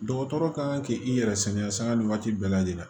Dɔgɔtɔrɔ kan k'i yɛrɛ sɛgɛn sanga ni waati bɛɛ lajɛlen la